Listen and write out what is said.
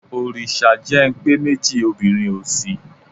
Òrìṣà jẹ́ ń pé méjì obìnrin ò sí.